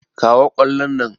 Kawo ƙwallon nan!